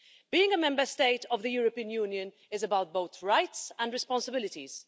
Being a Member State of the European Union is about both rights and responsibilities.